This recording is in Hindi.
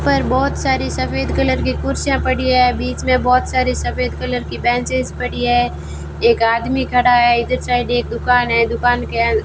पर बहोत सारी सफेद कलर की कुर्सियां पड़ी है बीच में बहोत सारी सफेद कलर की बेंचेस पड़ी है एक आदमी खड़ा है इधर साइड एक दुकान है दुकान के अन--